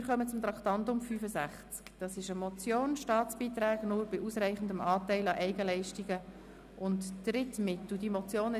Wir kommen zum Traktandum 65, einer von Grossrat Krähenbühl eingereichten Motion «Staatsbeiträge nur bei ausreichendem Anteil an Eigenleistungen und Drittmitteln».